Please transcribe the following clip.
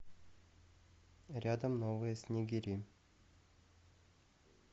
рядом новые снегири